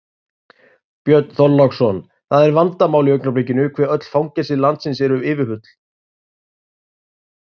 Björn Þorláksson: Það er vandamál í augnablikinu hve öll fangelsi landsins eru yfirfull?